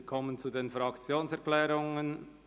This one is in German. Wir kommen zu den Fraktionserklärungen.